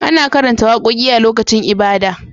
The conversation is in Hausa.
Ana karanta wakoki a lokacin ibada